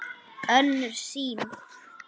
Önnur sýn